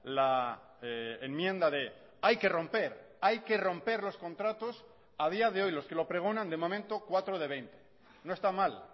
la enmienda de hay que romper hay que romper los contratos a día de hoy los que lo pregonan de momento cuatro de veinte no está mal